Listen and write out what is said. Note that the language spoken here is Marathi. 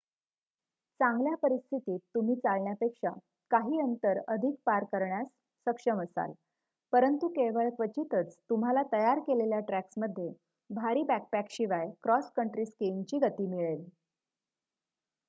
चांगल्या परिस्थितीत तुम्ही चालण्यापेक्षा काही अंतर अधिक पार करण्यास सक्षम असाल परंतु केवळ क्वचितच तुम्हाला तयार केलेल्या ट्रॅक्समध्ये भारी बॅकपॅकशिवाय क्रॉस कंट्री स्कीइंगची गती मिळेल